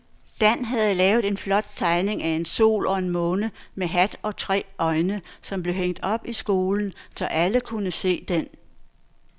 Dan havde lavet en flot tegning af en sol og en måne med hat og tre øjne, som blev hængt op i skolen, så alle kunne se den.